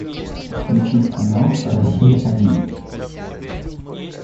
включить канал россия один